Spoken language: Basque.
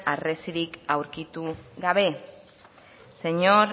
harresiak aurkitu gabe señor